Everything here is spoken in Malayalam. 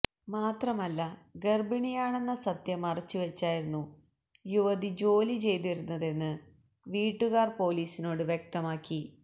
മാത്രമല്ല ഗർഭിണിയാണെന്ന സത്യം മറച്ച് വച്ചായിരുന്നു യുവതി ജോലി ചെയ്തിരുന്നതെന്ന് വീട്ടുകാർ പൊലീസിനോട് വ്യക്തമാക്കി